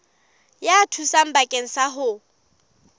ya thuso bakeng sa ho